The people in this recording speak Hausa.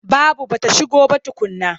Babu ba ta shigo ba tukunna.